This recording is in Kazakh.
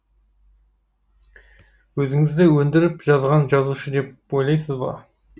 өзіңізді өндіріп жазған жазушы деп ойлайсыз ба